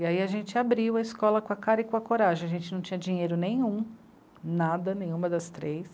E aí a gente abriu a escola com a cara e com a coragem, a gente não tinha dinheiro nenhum, nada, nenhuma das três.